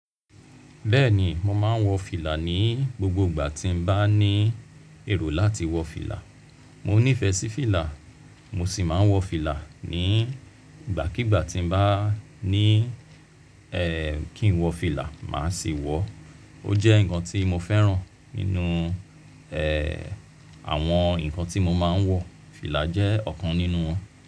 Bẹ́ẹ̀ni, mo máa ń wọ fìlà ní gbogbo ìgbà tí mo bá ní èrò láti wọ fìlà. Mò nífẹ̀ẹ́ sí fìlà, mo sì máa ń wọ fìlà ní ìgbàkígbà tí mo bá ní ẹ́ kí n wọ fìlà, màá sì wọọ. Ó jẹ́ nǹkan tí mo fẹ́ràn nínú ẹ́ àwọn nǹkan tí mo máa ń wọ. Fìlà jẹ́ ọ̀kan nínú wọn.